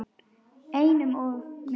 Einum of mikið.